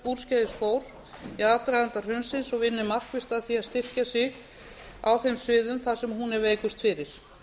úrskeiðis fór í aðdraganda hrunsins og vinni markvisst að því að styrkja sig á þeim sviðum þar sem hún er veikust fyrir